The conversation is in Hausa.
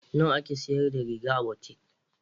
Nawa ake sayar da riga a butik?